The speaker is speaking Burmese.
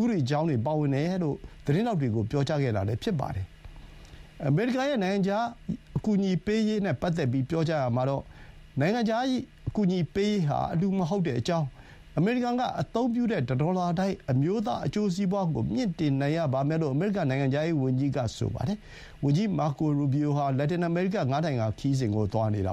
ဥပဒေအကြောင်းတွေ ပါဝင်နေတယ်လို့ သတင်းထောက်တွေကို ပြောကြားခဲ့တာ ဖြစ်ပါတယ်။ အမေရိကန်ရဲ့ နိုင်ငံခြား အကူပေးရေးနဲ့ ပတ်သက်ပြီး ပြောကြားရာမှာတော့ နိုင်ငံခြား အကူပေးရေးဟာ အလှူမဟုတ်ကြောင်း၊ အမေရိကန်က အသုံးပြုတဲ့ တဒေါ်လာတိုင်း အမျိုးသား အကျိုးစီးပွါးကို မြှင့်တင်နိုင်ရပါမယ်လို့ အမေရိကန် နိုင်ငံခြားရေးဝန်ကြီးက ဆိုပါတယ်။ ဝန်ကြီး မာကို ရူဘီအိုဟာ လက်တင်အမေရိက ငါးနိုင်ငံ ခရီးစဥ် သွားနေတာ